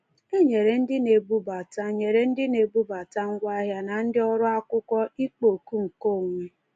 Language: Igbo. E nyere ndị na-ebubata nyere ndị na-ebubata ngwaahịa na ndị ọrụ akwụkwọ ịkpọ oku nkeonwe.